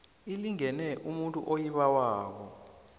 inikelwe umuntu oyibawako